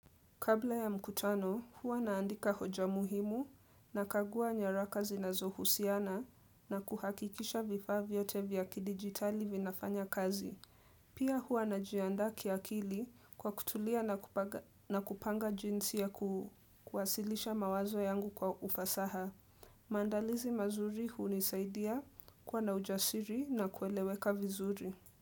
Kabla ya mkutano, huwa naandika hoja muhimu na kagua nyaraka zinazohusiana na kuhakikisha vifa vyote vya kidigitali vinafanya kazi. Pia huwa najianda kiakili kwa kutulia na kupanga jinsi ya kuwasilisha mawazo yangu kwa ufasaha. Mandalizi mazuri hunisaidia kuwa na ujasiri na kueleweka vizuri.